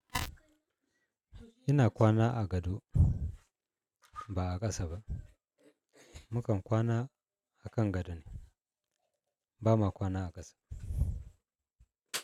Ina kwana a gado ba a ƙasa ba. Mu kam kwana a kan gadoni, ba ma kwana a ƙasa.